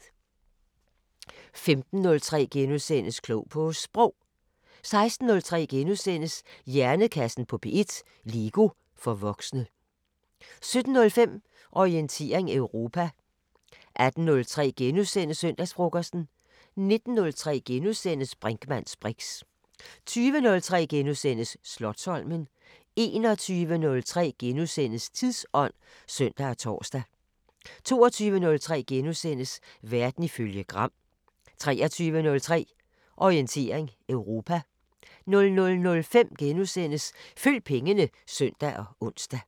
15:03: Klog på Sprog * 16:03: Hjernekassen på P1: LEGO for voksne * 17:05: Orientering Europa 18:03: Søndagsfrokosten * 19:03: Brinkmanns briks * 20:03: Slotsholmen * 21:03: Tidsånd *(søn og tor) 22:03: Verden ifølge Gram * 23:03: Orientering Europa 00:05: Følg pengene *(søn og ons)